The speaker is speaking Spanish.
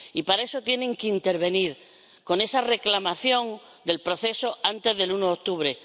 Y para eso tienen que intervenir, con esa reclamación del proceso, antes del uno de octubre.